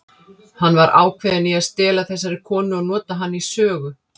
Hann var ákveðinn í að stela þessari konu og nota hana í sögu.